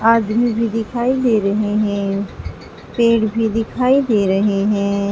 आदमी भी दिखाई दे रहे हैं पेड़ भी दिखाई दे रहे हैं।